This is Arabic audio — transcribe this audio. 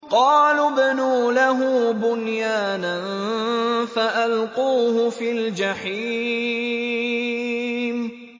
قَالُوا ابْنُوا لَهُ بُنْيَانًا فَأَلْقُوهُ فِي الْجَحِيمِ